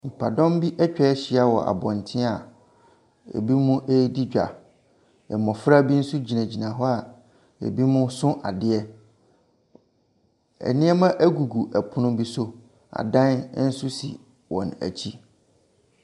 Nipadɔm bi atwa ahyia wɔ abɔntene binom redi dwa. Mmɔfra bi nso gyinagyina hɔ a binom so adeɛ. Nneɛma gugu pono bi so. Adan nso si wɔn akyi.